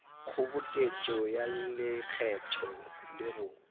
kgoboketšo ya lekgetho le go